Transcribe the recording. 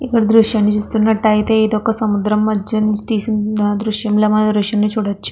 ఈ దృశ్యంలో మనకు చూసినట్లయితే ఇది ఒక సముద్రం మధ్యలో తీసినట్టు మనకు దృశ్యంలో కనిపెస్తునది.